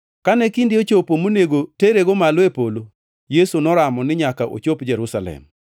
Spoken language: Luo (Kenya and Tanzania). Kane kinde ochopo monego terego malo e polo, Yesu noramo ni nyaka ochop Jerusalem.